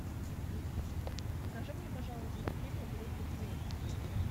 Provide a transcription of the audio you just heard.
покажи мне пожалуйста клипы группы квин